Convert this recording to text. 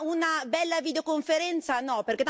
Ma una bella videoconferenza, no?